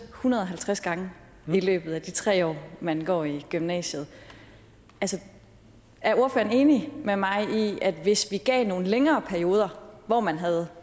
hundrede og halvtreds gange i løbet af de tre år man går i gymnasiet er ordføreren enig med mig i at hvis vi gav nogle længere perioder hvor man havde